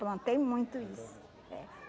Plantei muito isso. É.